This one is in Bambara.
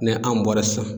Ni an bɔra sisan